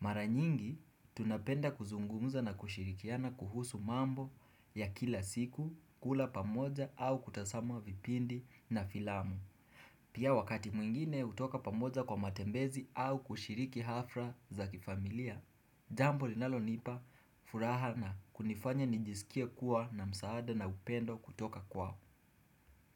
Mara nyingi, tunapenda kuzungumza na kushirikiana kuhusu mambo ya kila siku, kula pamoja au kutasama vipindi na filamu. Pia wakati mwingine hutoka pamoja kwa matembezi au kushiriki hafla za kifamilia. Jambo linalonipa furaha na kunifanya nijisikie kuwa na msaada na upendo kutoka kwao.